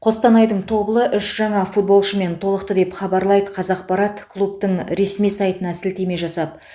қостанайдың тобылы үш жаңа футболшымен толықты деп хабарлайды қазақпарат клубтың ресми сайтына сілтеме жасап